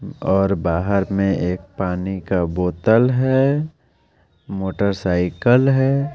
और बाहर में एक पानी का बोतल है मोटरसाइकिल है।